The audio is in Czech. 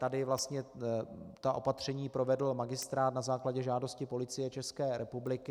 Tady vlastně ta opatření provedl magistrát na základě žádosti Policie České republiky.